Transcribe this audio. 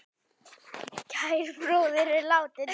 Kær bróðir er látinn.